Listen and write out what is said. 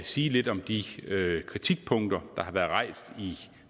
sige lidt om de kritikpunkter der har været rejst i